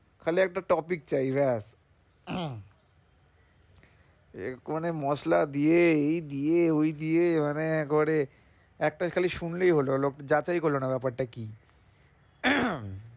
খালি একটা topic চাই ব্যস এই কনে মসলা দিয়ে এই দিয়ে ওই দিয়ে মানে একেবারে একটা খালি শুনলেই হলো লোক যাচাই করলো না ব্যাপারটা কি?